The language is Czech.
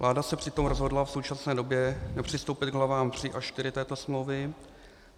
Vláda se přitom rozhodla v současné době nepřistoupit k hlavám III a IV této smlouvy.